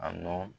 A nɔ